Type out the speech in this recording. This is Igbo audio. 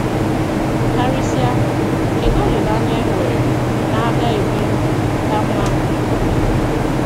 Karịsịa ,Kedụ olileanya e nwere na a ga - ebi ndụ ka mma n’ọdịnihu?